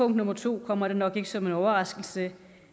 nummer to kommer det nok ikke som en overraskelse